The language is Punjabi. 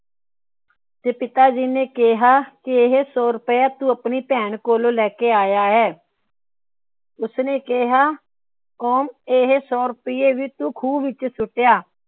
ਤੇ ਪਿਤਾ ਜੀ ਨੇ ਕਿਹਾ ਵੀ ਇਹ ਸੋ ਰੁਪਇਆ ਤੂੰ ਆਪਣੀ ਭੈਣ ਕੋਲੋਂ ਲੈਕੇ ਆਇਆ ਹੈ । ਉਸ ਨੇ ਕਿਹਾ ਇਹ ਸੋ ਰੁਪਇਆ ਖੂ ਵਿੱਚ ਸੁੱਟ ਆ